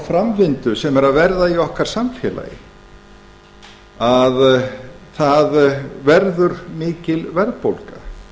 framvindu sem er að verða í okkar samfélagi að það verður mikil verðbólga